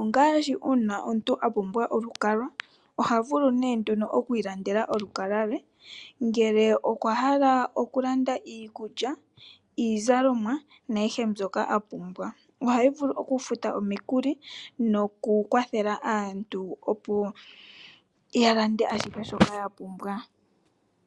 ongaashi uuna omuntu a pumbwa olukalwa oha vulu nee nduno oku ilandela olukalwa le. Ngele okwa hala okulanda iikulya, iizalomwa nayihe mbyoka a pumbwa. Ohayi vulu okufuta omikuli nokukwathela aantu opo ya lande ashihe shoka ya pumbwa.